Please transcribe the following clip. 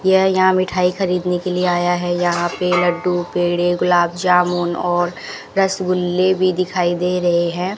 यह यहां मिठाई खरीदने के लिए आया है यहां पे लड्डू पेड़े गुलाब जामुन और रसगुल्ले भी दिखाई दे रहे हैं।